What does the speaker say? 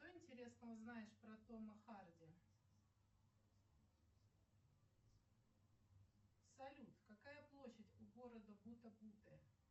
что интересного знаешь про тома харди салют какая площадь у города бута буте